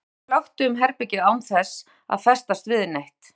Augnaráðið flökti um herbergið án þess að festast við neitt.